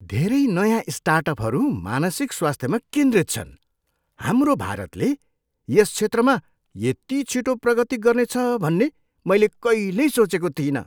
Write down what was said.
धेरै नयाँ स्टार्टअपहरू मानसिक स्वास्थ्यमा केन्द्रित छन्! हाम्रो भारतले यस क्षेत्रमा यति छिटो प्रगति गर्नेछ भन्ने मैले कहिल्यै सोचेको थिइनँ।